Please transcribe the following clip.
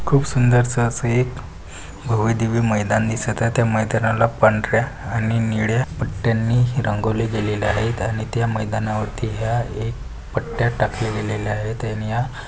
खूप सुंदरस असं एक भव्यदिव्य मैदान दिसत आहे त्या मैदानाला पांढर्‍या आणि निळ्या पट्ट्यांनी ही रंगवले गेलेले आहेत आणि त्या मैदानावरती ह्या एक पट्ट्या टाकलेलेलेल्या आहेत आणि या--